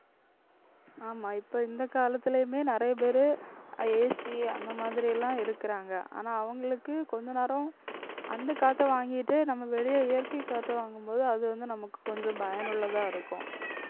ஆமா இப்ப இந்த காலத்துலயுமே நிறைய பேரு AC அந்த மாதிரி எல்லாம் இருக்குறாங்க. ஆனா அவங்களுக்கு கொஞ்ச நேரம் அந்த காத்த வாங்கிட்டு நம்ம வெளியே இயற்கை காத்த வாங்கும்போது அது வந்து நமக்கு கொஞ்சம் பயனுள்ளதா இருக்கும்